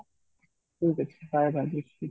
ଠିକ ଅଛି bye bye Rajeshwari